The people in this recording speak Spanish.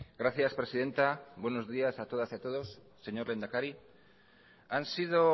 gracias presidenta buenos días a todas y a todos señor lehendakari han sido